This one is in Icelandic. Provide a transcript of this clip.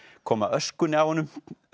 koma öskunni af honum